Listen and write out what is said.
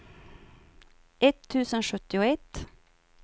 etttusen sjuttioett